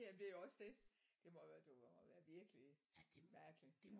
Ja men det er også det det må være det må være virkelig mærkeligt